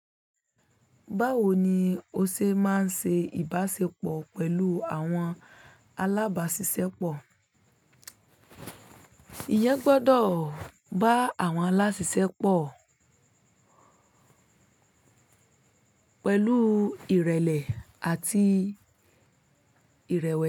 Báwo ni o ṣe máa ń ṣe ìbáṣepọ̀ pẹ̀lú àwọn alábáṣiṣẹ́pọ̀? Ìyẹn gbọ́dọ̀ bá àwọn aláṣisepọ̀ pẹ̀lú ìrẹ̀lẹ̀ àti ìrẹ̀wẹ̀sì.